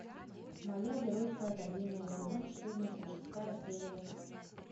моя геройская академия сезон четырнадцать шестая серия